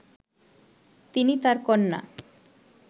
তিনি তার কন্যা